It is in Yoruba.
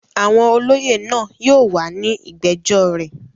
Àwọn olóyè náà yóò wà ní ìgbẹ́jọ́ rẹ̀.